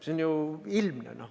See on ju ilmne.